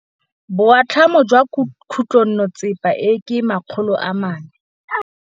Boatlhamô jwa khutlonnetsepa e, ke 400.